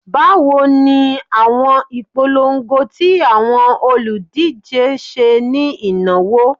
Bawo ni awọn ipolongo ti awọn oludije ṣe ni inawo?